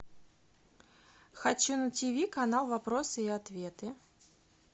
хочу на тв канал вопросы и ответы